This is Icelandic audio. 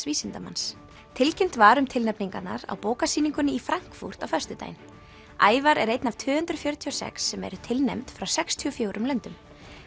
vísindamanns tilkynnt var um tilnefningarnar á í Frankfurt á föstudaginn Ævar er einn af tvö hundruð fjörutíu og sex sem eru tilnefnd frá sextíu og fjórum löndum